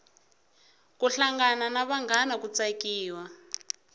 ku hlangana na vanghana ku tsakiwa